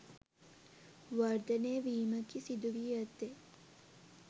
වර්ධනය වීමකි සිදුවී ඇත්තේ.